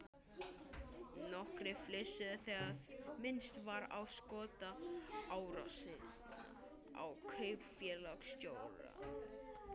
Nokkrir flissuðu þegar minnst var á skotárásina á kaupfélagsstjórann.